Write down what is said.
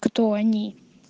кто они